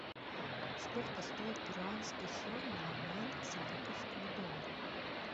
сколько стоит перуанский соль на обмен к сингапурскому доллару